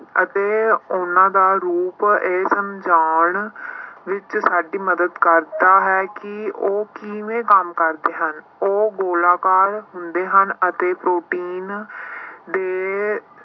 ਅਤੇ ਉਹਨਾਂ ਦਾ ਰੂਪ ਇਹ ਸਮਝਾਉਣ ਵਿੱਚ ਸਾਡੀ ਮਦਦ ਕਰਦਾ ਹੈ ਕਿ ਉਹ ਕਿਵੇਂ ਕੰਮ ਕਰਦੇ ਹਨ ਉਹ ਗੋਲਾਕਾਰ ਹੁੰਦੇ ਹਨ ਅਤੇ ਪ੍ਰੋਟੀਨ ਦੇ